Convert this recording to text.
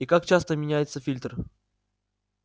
и как часто меняеться фильтр